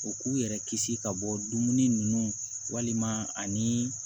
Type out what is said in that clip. U k'u yɛrɛ kisi ka bɔ dumuni ninnu walima ani